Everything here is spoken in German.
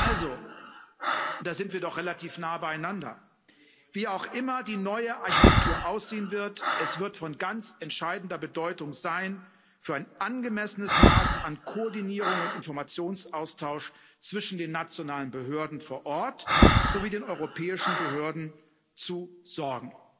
Also da sind wir doch relativ nah beieinander wie auch immer die neue Architektur aussehen wird, es wird von ganz entscheidender Bedeutung sein, für ein angemessenes Maß an Koordinierung und Informationsaustausch zwischen den nationalen Behörden vor Ort sowie den europäischen Behörden zu sorgen.